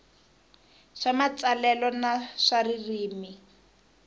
swa matsalelo na swa ririmi